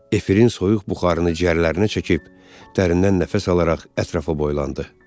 Efirinin soyuq buxarını ciyərlərinə çəkib, dərindən nəfəs alaraq ətrafa boylandı.